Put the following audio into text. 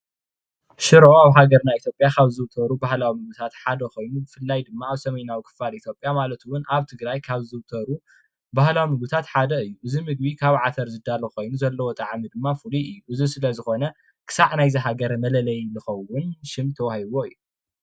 ሸሮ ኣብ ሃገርና ኢትዮጵያ ካብ ዝዝውተር ባህላዊ ምግቢ ኾይኑ ብፍላይ ድማ ኣብ ሰሜናዊ ኢትዮጵያ ከባቢ ሰሜን ማለት እውን አብ ትግራይ ብበዝሒ ይዝውተር።